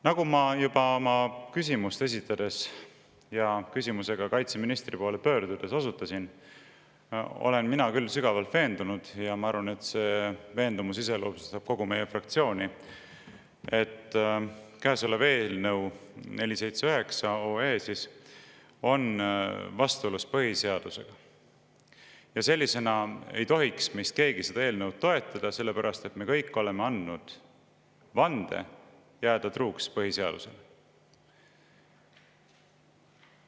Nagu ma juba oma küsimust esitades ja küsimusega kaitseministri poole pöördudes osutasin, olen mina küll sügavalt veendunud – ja ma arvan, et see veendumus iseloomustab kogu meie fraktsiooni –, et käesolev eelnõu, 479 OE, on vastuolus põhiseadusega ja sellisena ei tohiks meist keegi seda toetada, sellepärast et me kõik oleme andnud vande jääda truuks põhiseadusele.